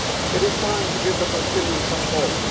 It is time to give the Palestinians some hope.